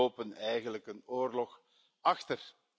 Jullie lopen eigenlijk een oorlog achter.